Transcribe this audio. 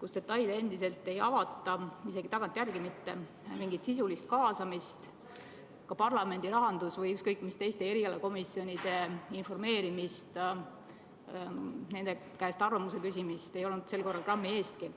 kus detaile endiselt ei avata, isegi tagantjärele mitte, mingit sisulist kaasamist, ka parlamendi rahanduskomisjoni või ükskõik mis teiste komisjonide informeerimist, nende käest arvamuse küsimist ei olnud sel korral grammi eestki.